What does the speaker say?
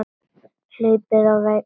Hlaupið á vegg